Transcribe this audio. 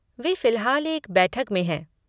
वे फ़िलहाल एक बैठक में हैं।